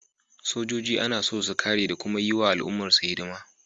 Sojoji ana son su kare da kuma yi wa al’ummarsu hidima